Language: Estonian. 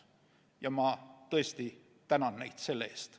Ja ma tõesti tänan neid selle eest.